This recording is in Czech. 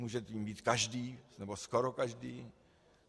Může jím být každý, nebo skoro každý.